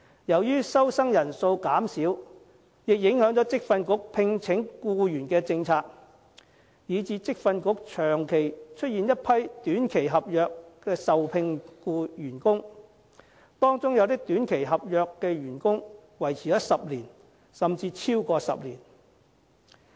由於收生人數減少，亦影響職訓局聘請僱員的政策，以致職訓局長期出現一批以短期合約受聘的員工，當中有些短期合約員工維持了10年，甚至超過10年。